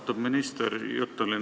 Austatud minister!